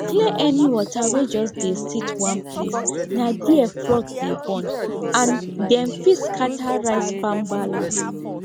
clear any water wey just dey sit one placena there frog dey born and dem fit scatter rice farm balance